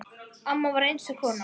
Amma var einstök kona.